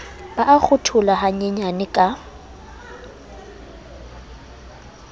ba a kgatholoha hanyenyane ka